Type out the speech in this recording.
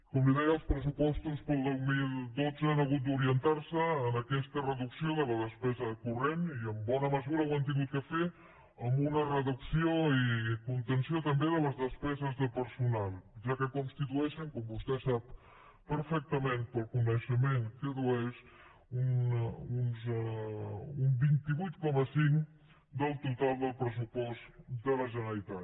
com li deia els pressupostos per al dos mil dotze han hagut d’orientar se en aquesta reducció de la despesa corrent i en bona mesura ho han hagut de fer amb una reducció i contenció també de les despeses de personal ja que constitueixen com vostè sap perfectament pel coneixement que addueix un vint vuit coma cinc del total del pressupost de la generalitat